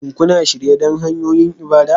Shin kuna shirye don hanyoyin ibada?